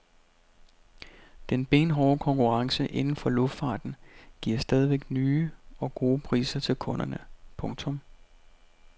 Den benhårde konkurrence inden for luftfarten giver stadig nye og gode priser til kunderne. punktum